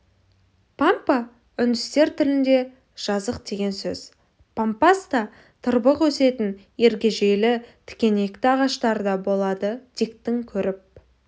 пампа үндістер тілінде жазық деген сөз пампаста тырбық өсетін ергежейлі тікенекті ағаштар да болады диктің көріп